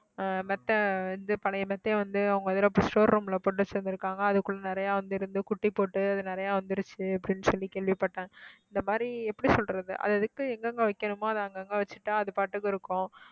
ஆஹ் மெத்தை வந்து பழைய மெத்தை வந்து அவங்க showroom ல கொண்டு சேர்ந்திருக்காங்க அதுக்குள்ள நிறைய வந்திருந்து குட்டி போட்டு அது நிறைய வந்துருச்சு அப்படின்னு சொல்லி கேள்விப்பட்டேன் இந்த மாதிரி எப்படி சொல்றது அது எதுக்கு எங்கங்க வைக்கணுமோ அதை அங்கங்க வச்சுட்டா அது பாட்டுக்கு இருக்கும்